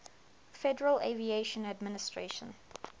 federal aviation administration